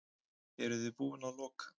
Eruði búin að loka?